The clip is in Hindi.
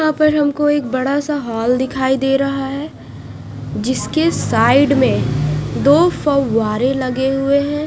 यहाँ पर हमको एक बड़ा सा हाल दिखाई दे रहा है जिसके साइड में दो फौआरे लगे हुए है।